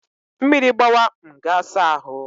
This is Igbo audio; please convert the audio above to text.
Mmiri gbawa, m ga saa ahụ